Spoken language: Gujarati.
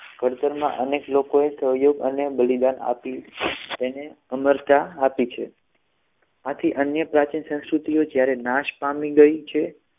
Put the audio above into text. ઘડતરમાં અનેક લોકોએ સહયોગ અને બલિદાન આપ્યુ છે. તેને અમરતા આપી છે આથી અન્ય પ્રાચીન સંસ્કૃતિઓ જ્યારે નાશ પામી ગઈ છે